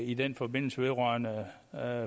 i den forbindelse vedrørende